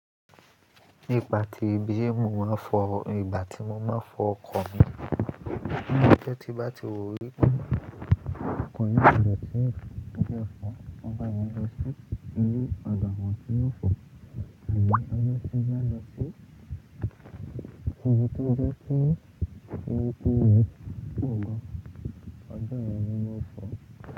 Nipà tí bíi mo máa ń fọ, ìgbà tí mo máa ń fọ ọkọ̀ mi, ọjọ́ tí bá ti wọlé, ọkọ̀ yẹn yóò lọ sí ibi tí ó fọ, ọgbà ẹni yóò lọ sí inú ọgbà wọn tí yóò fọ, àní ọjọ́ síbí máa lọ sí ibi tó jẹ́ kí irú tó yẹn kò mọ, ọjọ́ yẹn ni wọn ó fọ.